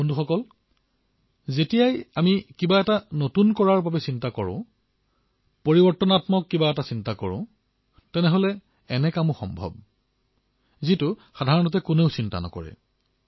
বন্ধুসকল যেতিয়াই আমি কিবা নতুন এটা কৰিবলৈ চিন্তা কৰো উদ্ভাৱনৰ কথা ভাবো তেতিয়াই এনেকুৱা কামো সম্ভৱ হৈ পৰে যাৰ কথা সাধাৰণতে কোনেও কল্পনা নকৰে